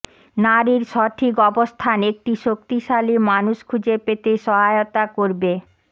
নারীর সঠিক অবস্থান একটি শক্তিশালী মানুষ খুঁজে পেতে সহায়তা করবে